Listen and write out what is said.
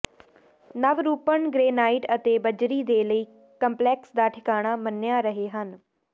ਨਵਰੂਪਨ granite ਅਤੇ ਬੱਜਰੀ ਦੇ ਲਈ ਕੰਪਲੈਕਸ ਦਾ ਠਿਕਾਣਾ ਮੰਨਿਆ ਰਹੇ ਹਨ